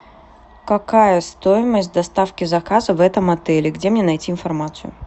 какая стоимость доставки заказа в этом отеле где мне найти информацию